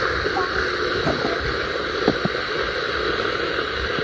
Dagný Hrund.